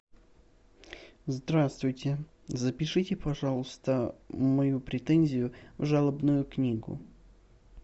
здравствуйте запишите пожалуйста мою претензию в жалобную книгу